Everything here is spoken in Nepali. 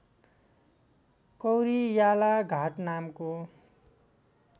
कौरियाला घाट नामको